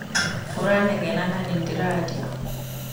Ũranegena na nĩndĩrarĩa.